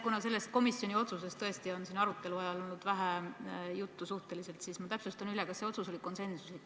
Kuna sellest komisjoni otsusest tõesti on siin arutelu ajal olnud suhteliselt vähe juttu, siis ma täpsustan üle: kas see otsus oli konsensuslik?